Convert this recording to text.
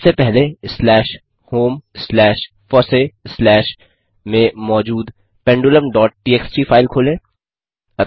सबसे पहले slash home slash फॉसी स्लैश में मौजूद पेंडुलम डॉट टीएक्सटी फाइल खोलें